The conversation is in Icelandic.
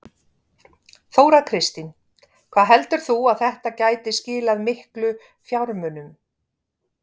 Þóra Kristín: Hvað heldur þú að þetta gæti skilað miklu fjármunum?